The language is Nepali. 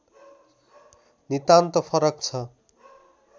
नितान्त फरक छ